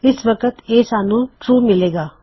ਇਸ ਵਕਤ ਇਹ ਟਰੂ ਦੱਸੇਗਾ